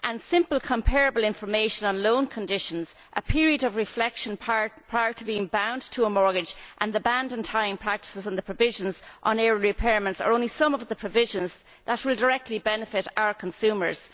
Simple comparable information on loan conditions, a period of reflection prior to being bound to a mortgage, the ban on tying practices and the provisions on early repayments are only some of the provisions that will directly benefit our consumers.